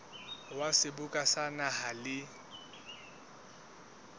wa seboka sa naha le